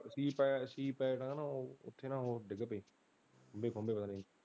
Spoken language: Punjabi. ਸੀ ਪੈਣ ਸੀ ਪੈਣ ਨਾਲ ਉਹ ਓਥੇ ਨਾ ਉਹ ਡਿੱਗ ਪਏ ਖਮਬੇ ਖੁਮਬੇ।